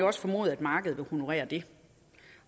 også formodes at markedet vil honorere det